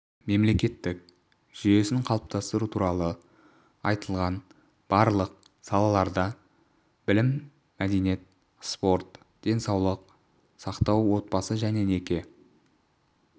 мемлекеттік жүйесін қалыптастыру туралы айтылған барлық салаларда білім мәдениет спорт денсаулық сақтау отбасы және неке